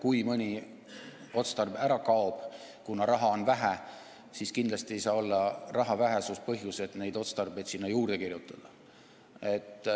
Kui mõni otstarve ära kaob, kuna raha on vähe, siis kindlasti ei saa olla raha vähesus see põhjus, miks neid otstarbeid sinna juurde kirjutada.